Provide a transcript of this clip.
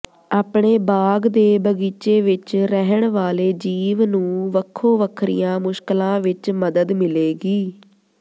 ਆਪਣੇ ਬਾਗ਼ ਦੇ ਬਗੀਚੇ ਵਿਚ ਰਹਿਣ ਵਾਲੇ ਜੀਵ ਨੂੰ ਵੱਖੋ ਵੱਖਰੀਆਂ ਮੁਸ਼ਕਲਾਂ ਵਿਚ ਮਦਦ ਮਿਲੇਗੀ